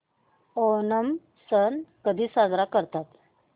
ओणम सण कधी साजरा करतात